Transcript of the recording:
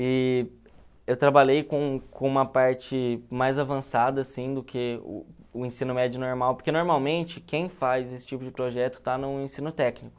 E eu trabalhei com com uma parte mais avançada assim do que o ensino médio normal, porque normalmente quem faz esse tipo de projeto está no ensino técnico.